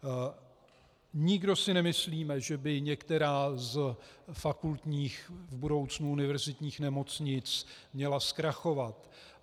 Nikdo si nemyslíme, že by některá z fakultních, v budoucnu univerzitních nemocnic, měla zkrachovat.